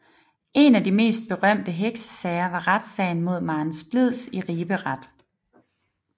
En af de berømteste heksesager var retssagen mod Maren Splids i Ribe Ret